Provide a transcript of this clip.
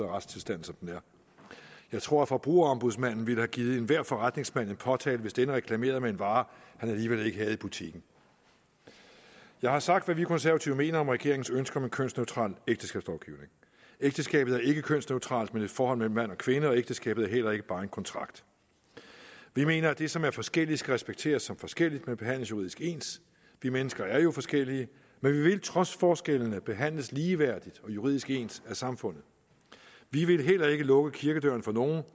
retstilstanden som den er jeg tror at forbrugerombudsmanden ville have givet enhver forretningsmand en påtale hvis denne reklamerede med en vare han alligevel ikke havde i butikken jeg har sagt hvad vi konservative mener om regeringens ønske om en kønsneutral ægteskabslovgivning ægteskabet er ikke kønsneutralt men et forhold mellem mand og kvinde og ægteskabet er heller ikke bare en kontrakt vi mener at det som er forskelligt skal respekteres som forskelligt men behandles juridisk ens vi mennesker er jo forskellige men vi vil trods forskellene behandles ligeværdigt og juridisk ens af samfundet vi vil heller ikke lukke kirkedøren for nogen